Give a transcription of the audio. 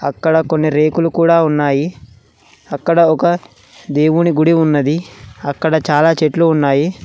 అక్కడ కొన్ని రేకులు కూడ ఉన్నాయి. అక్కడ ఒక దేవుని గుడి ఉన్నది. అక్కడ చాలా చెట్లు ఉన్నాయి.